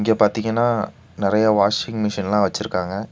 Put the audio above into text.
இங்க பாத்தீங்கன்னா நறைய வாஷிங் மிஷின்ல்லா வச்சிருக்காங்க.